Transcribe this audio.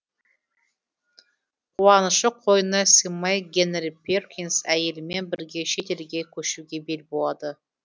қуанышы қойнына сыймай генри перкинс әйелімен бірге шет елге көшуге бел буады